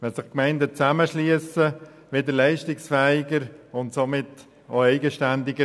Wenn sich Gemeinden zusammenschliessen, wird der Kanton leistungsfähiger und somit auch eigenständiger.